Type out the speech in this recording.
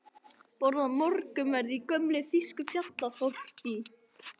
Borða morgunverð í gömlu þýsku fjallaþorpi, svaraði hún þá.